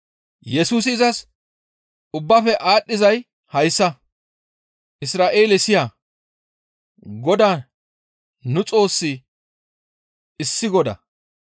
Yesusi izas, «Ubbaafe aadhdhizay hayssa, ‹Isra7eele siya! Godaa nu Xoossi issi Godaa,